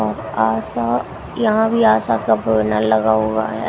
आशा यहां भी आशा का बैनर लगा हुआ है।